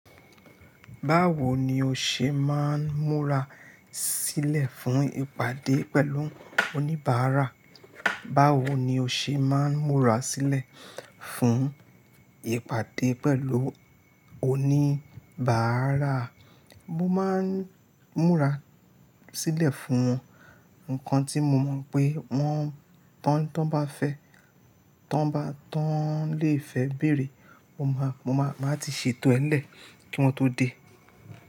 Báwo ni o ṣe máa ń múra sílẹ̀ fún ìpàdé pẹ̀lú oníbàárà? Báwo ni o ṣe máa ń múra sílẹ̀ fún ìpàdé pẹ̀lú oníbàárà? Mo máa ń múra sílẹ̀ fún wọn. Nǹkan tí mo mọ̀ pé wọ́n, tán, tán bá fẹ́, tán bá, tán lè fẹ́ bèrè, mo máa, mo máa, máa ti ṣètò ẹ́ lẹ̀ kí wọn tó dé.